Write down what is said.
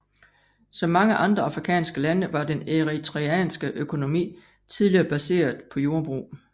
Som mange andre afrikanske lande var den eritreanske økonomi tidligere baseret på jordbrug